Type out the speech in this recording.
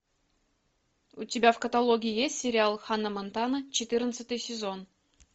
у тебя в каталоге есть сериал ханна монтана четырнадцатый сезон